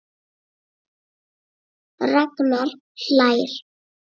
Ragnar hlær.